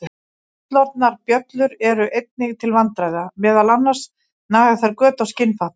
Fullorðnar bjöllur eru einnig til vandræða, meðal annars naga þær göt á skinnfatnað.